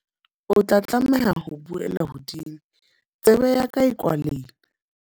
O tla tlameha ho buela hodimo, tsebe ya ka e kwalehile.